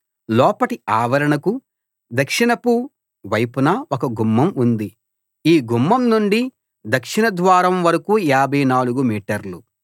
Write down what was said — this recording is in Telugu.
లోపటి ఆవరణకు దక్షిణపు వైపున ఒక గుమ్మం ఉంది ఈ గుమ్మం నుండి దక్షిణ ద్వారం వరకూ 54 మీటర్లు